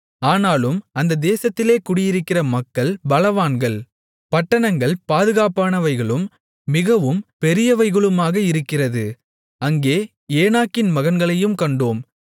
ஆனாலும் அந்த தேசத்திலே குடியிருக்கிற மக்கள் பலவான்கள் பட்டணங்கள் பாதுகாப்பானவைகளும் மிகவும் பெரியவைகளுமாக இருக்கிறது அங்கே ஏனாக்கின் மகன்களையும் கண்டோம்